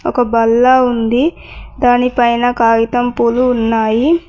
ఒక బల్ల ఉంది దానిపైన కాగితం పూలు ఉన్నాయి.